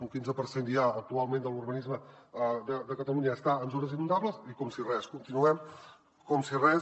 un quinze per cent ja actualment de l’urbanisme de catalunya està en zones inundables i com si res continuem com si res